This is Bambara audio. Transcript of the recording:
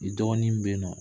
I dɔgɔnin be in nɔ